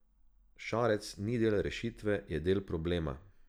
Šarec ni del rešitve, je del problema.